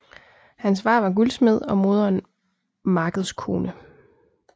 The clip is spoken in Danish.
Hans far var guldsmed og moderen markedskone